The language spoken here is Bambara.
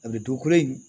A bɛ dugukolo in